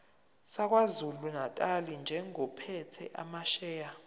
sakwazulunatali njengophethe amasheya